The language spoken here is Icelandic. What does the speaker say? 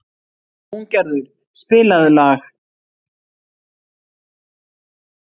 Húngerður, spilaðu lag.